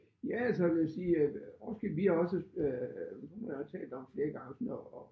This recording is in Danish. Ja altså jeg vil sige Roskilde vi har også øh min kone og jeg talt om flere gange sådan at at